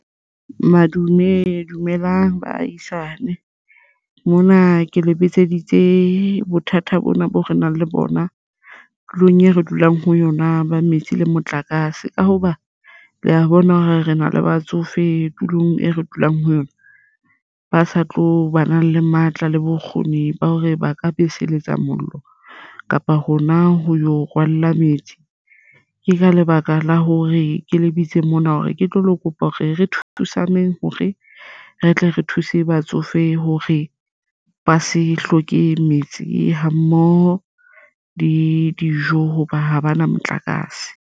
Madume dumelang baahisane, mona ke le bitseditse bothata bona boo re nang le bona tulong e re dulang ho yona ba metsi le motlakase ka hoba le a bona hore re na le batsofe tulong e re dulang ho yona. Ba sa tlo bana le matla le bokgoni ba hore ba ka beseletsa mollo kapa hona ho yo rwalla metsi. Ke ka lebaka la hore ke lebitso mona hore ke tlo le kopa hore re thusaneng hore re tle re thuse batsofe hore ba se hloke metsi ha mmoho le dijo hoba ha ba na motlakase.